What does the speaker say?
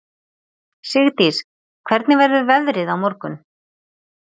Sigdís, hvernig verður veðrið á morgun?